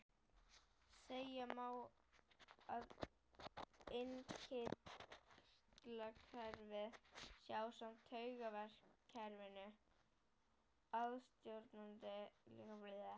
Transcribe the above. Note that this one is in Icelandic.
Segja má að innkirtlakerfið sé ásamt taugakerfinu aðalstjórnandi líkamsstarfseminnar.